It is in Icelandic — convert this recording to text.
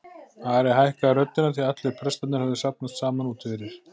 Ari hækkaði röddina því allir prestarnir höfðu safnast saman úti fyrir.